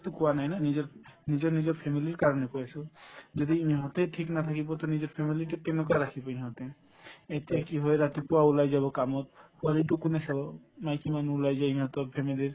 কোৱা নাই না নিজৰ নিজৰ নিজৰ family ৰ কাৰণে কৈ আছো যদি ইহঁতে থিক নাথাকিব তে নিজৰ family ক কেনেকুৱা ৰাখিব ইহঁতে এতিয়া কি হয় ৰাতিপুৱা ওলাই যাব কামত পোৱালিটোক কোনে চাব মাইকী মানুহ ওলাই যায় ইহঁতৰ family ৰ